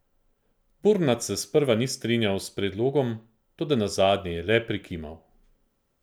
Burnat se sprva ni strinjal s predlogom, toda nazadnje je le prikimal.